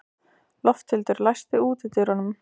Lofthildur, læstu útidyrunum.